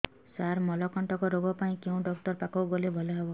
ସାର ମଳକଣ୍ଟକ ରୋଗ ପାଇଁ କେଉଁ ଡକ୍ଟର ପାଖକୁ ଗଲେ ଭଲ ହେବ